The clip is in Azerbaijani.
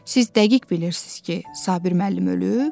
Siz dəqiq bilirsiz ki, Sabir müəllim ölüb?